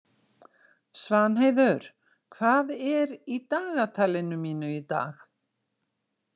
Svanheiður, hvað er í dagatalinu mínu í dag?